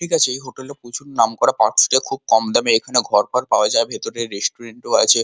ঠিক আছে এই হোটেল প্রচুর নাম করা খুব কম দামে ভিতরে রেস্টুরেন্ট আছে।